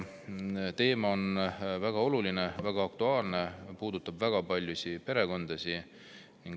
Teema on väga oluline, väga aktuaalne, see puudutab väga paljusid perekondasid.